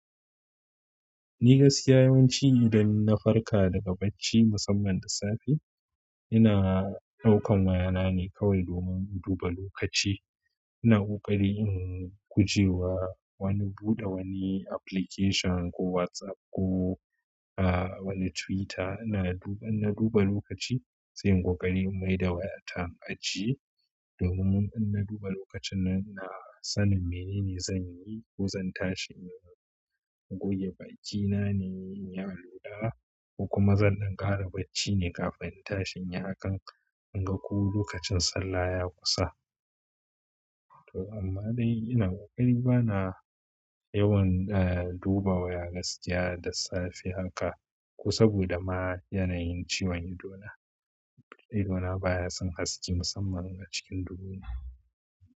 Ni gaskiya yawanci idan na farka daga bacci musamman da safe, ina ɗaukan wayana ne kawai domin in duba lokaci. Ina ƙoƙari in guje wa wani buɗe wani application ko WhatsApp ko ahh wani Twitter ina. In na duba lokaci, sai inyi ƙoƙari in maida wayata in ajiye domin in na duba lokaci nan ina sanin menene zanyi, ko zan tashi in goge bakina ne inyi alola, kokuma dan ɗan ƙara bacci ne kafin in tashi inyi hakan in ga ko lokacin sallah yayi kusa. To amma dai ina ƙoƙari bana yawan, ah duba waya gaskiya da safe haka ko saboda ma yanayin ciwon ido na. Ido na baya son haske musamman a cikin duhu na.